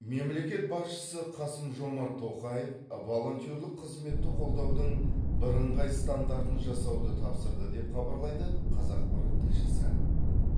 мемлекет басшысы қасым жомарт тоқаев волонтерлік қызметті қолдаудың бірыңғай стандартын жасауды тапсырды деп хабарлайды қазақпарат тілшісі